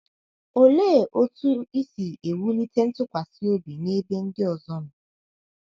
Olee otú i si ewulite ntụkwasị obi n’ebe ndị ọzọ nọ?